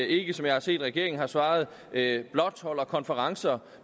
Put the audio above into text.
ikke som jeg har set regeringen har svaret blot holder konferencer